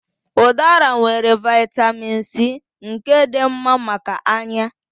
Udara nwere Vị́tamị́n C nke dị mma maka anya.